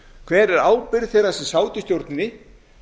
hver er ábyrgð þeirra sem sátu í stjórninni